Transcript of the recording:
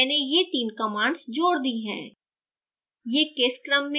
अतः मैंने ये तीन commands जोड़ दी हैं